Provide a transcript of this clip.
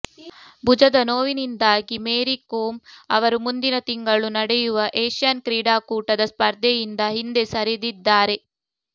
ಭುಜದ ನೋವಿನಿಂದಾಗಿ ಮೇರಿ ಕೋಮ್ ಅವರು ಮುಂದಿನ ತಿಂಗಳು ನಡೆಯುವ ಏಷ್ಯನ್ ಕ್ರೀಡಾಕೂಟದ ಸ್ಪರ್ಧೆಯಿಂದ ಹಿಂದೆ ಸರಿದಿದ್ದಾರೆ